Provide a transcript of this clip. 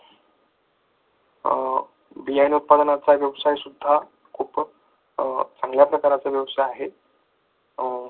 बियाणे उत्पादनाचा व्यवसाय सुद्धा खूपच चांगल्या प्रकारचा व्यवसाय आहे.